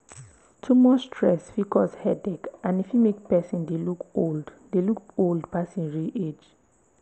too much stress fit cause headache and e fit make person dey look old dey look old pass im real age